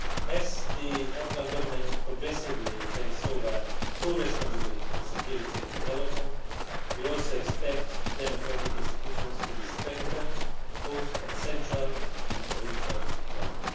As the Afghan Government progressively takes over full responsibility for security and development, we also expect democratic institutions to be strengthened both at central and provincial level.